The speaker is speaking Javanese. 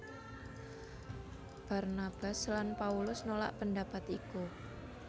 Barnabas lan Paulus nolak pendapat iku